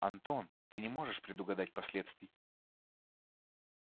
антон ты не можешь предугадать последствий